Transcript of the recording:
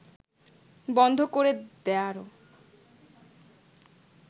বন্ধ করে দেয়ারও